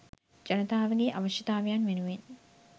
ජනතාවගේ අවශ්‍යතාවයන් වෙනුවෙන්